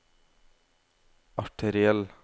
arteriell